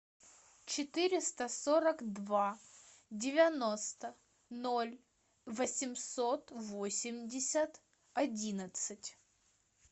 четыреста сорок два девяносто ноль восемьсот восемьдесят одиннадцать